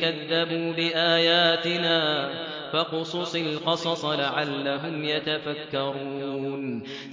كَذَّبُوا بِآيَاتِنَا ۚ فَاقْصُصِ الْقَصَصَ لَعَلَّهُمْ يَتَفَكَّرُونَ